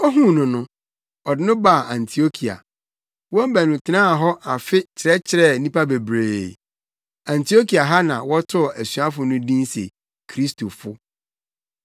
Ohuu no no, ɔde no baa Antiokia. Wɔn baanu tenaa hɔ afe kyerɛkyerɛɛ nnipa bebree. Antiokia ha na wɔtoo asuafo no din se “Kristofo.”